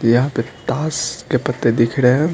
यहां पे ताश के पत्ते दिख रहे हैं।